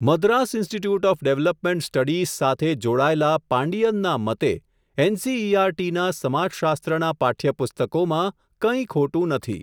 Madras institute of development studies, સાથે જોડાયેલા પાંડિયનના મતે, એનસીઈઆરટી ના સમાજશાસ્ત્ર ના પાઠ્યપુસ્તકોમાં, કંઈ ખોટું નથી.